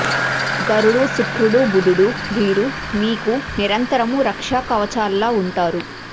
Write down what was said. గురుడు శుక్రుడు బుధుడు వీరు మీకు నిరంతరము రక్షా కవచాల్లా ఉంటారు